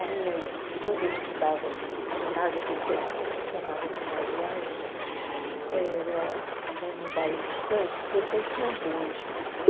A minha es quando eu estudava no ginásio, aquele tempo chamava ginásio era era num bairro distante, aquele tempo tinha bonde, né?